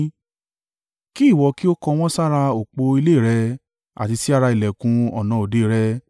Kí ìwọ kí ó kọ wọ́n sára òpó ilé rẹ̀, àti sí ara ìlẹ̀kùn ọ̀nà òde rẹ.